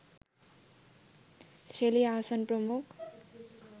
Shelley Ahsan প্রমুখ